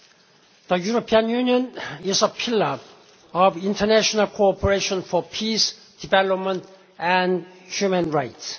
The European Union is a pillar of international cooperation for peace, development and human rights.